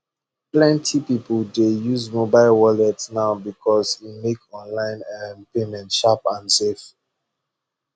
plenty people dey use mobile wallet now because e make online um payment sharp and safe